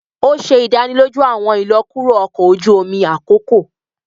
O ṣe idaniloju awọn ilọkuro ọkọ oju omi akoko